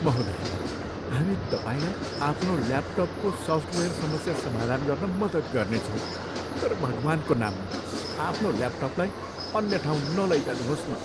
महोदया, हामी तपाईँलाई आफ्नो ल्यापटपको सफ्टवेयर समस्या समाधान गर्न मद्दत गर्नेछौँ तर भगवान्को नाममा, आफ्नो ल्यापटपलाई अन्य ठाउँ नलैजानुहोस् न।